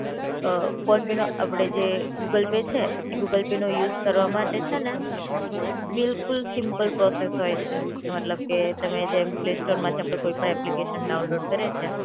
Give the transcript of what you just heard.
અ ફોનપેનો અપડે જે ગૂગલ પે છે, એ ગૂગલ પેનો યુઝ કરવા માટે છે ને, બિલકુલ સિમ્પલ પ્રોસેસ હોય છે મતલબ કે તમે જેમ પ્લે સ્ટોર માંથી આપડે કોઈ પણ એપ્લિકેશન ડાઉનલોડ કરીયે છે